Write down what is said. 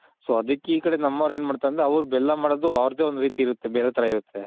so ಅದಕ್ಕೆ ಇ ಕಡೆ ನಮ್ಮವ್ರ್ ಏನ್ ಮಾಡ್ತಾರಂದ್ರೆ ಅವ್ರ್ ಬೆಲ್ಲ ಮಾಡೋದು ಅವ್ರ್ದೆ ಒಂದ್ ರೀತಿ ಇರುತ್ತೆ ಬೇರೆ ತರ ಇರುತ್ತೆ.